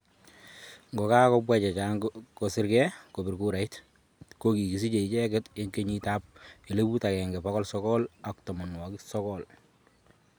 Ngokagobwaa chechang' kosergei kobiir kuura, ko kigisiche icheeget eng' kenyiit 1990